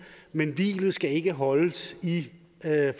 men hvilet skal ikke holdes i